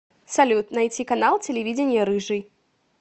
салют найти канал телевидения рыжий